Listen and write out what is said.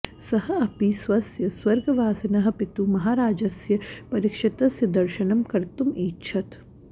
सः अपि स्वस्य स्वर्गवासिनः पितुः महाराजस्य परीक्षितस्य दर्शनं कर्तुम् ऐच्छत्